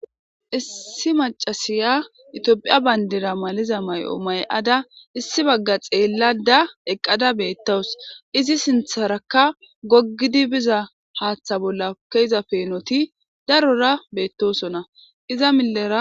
issi macasiya itoophiya bayndira maliza ma'o ma'ada issi bagga xeellada eqqada beettawus izi sintharakka goggidi biza haaththa bolla keza peenoti darora beettosona iza millera